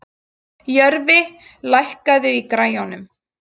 Jörfi, lækkaðu í græjunum.